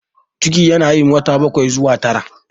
Ciki yana yin wata bakwai zuwa tara.